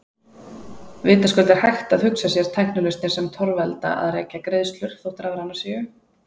Vitaskuld er hægt að hugsa sér tæknilausnir sem torvelda að rekja greiðslur, þótt rafrænar séu.